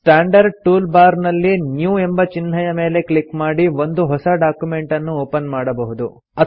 standard tool bar ನಲ್ಲಿ new ಎಂಬ ಚಿಹ್ನೆಯ ಮೇಲೆ ಕ್ಲಿಕ್ ಮಾಡಿ ಒಂದು ಹೊಸ ಡಾಕ್ಯುಮೆಂಟನ್ನು ಒಪನ್ ಮಾಡಬಹುದು